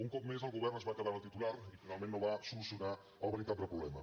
un cop més el govern es va quedar en el titular i finalment no va solucionar el veritable problema